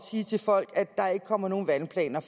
sige til folk at der ikke kommer nogen vandplaner